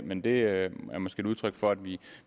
men det er måske et udtryk for at vi